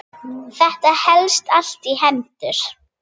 Þetta helst allt í hendur.